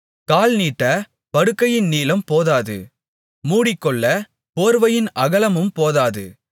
கால் நீட்டப் படுக்கையின் நீளம்போதாது மூடிக்கொள்ளப் போர்வையின் அகலமும் போதாது